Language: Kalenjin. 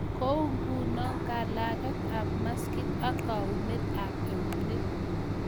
Kou ngunoo kalageet ap maskiit ak kaunet ap euneek